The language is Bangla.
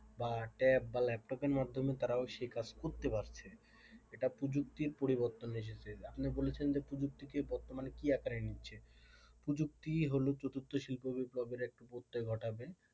বা tab বা laptop মাধ্যমে তারাও সেই কাজ করতে পারছে এটা প্রযুক্তির পরিবর্তন এসেছে আপনি বলেছেন না প্রযুক্তিকে বর্তমানে কি আকারে নিচ্ছে প্রযুক্তি হলো চতুর্থ শিল্প বিপ্লব এর প্রত্যয় ঘটাবে,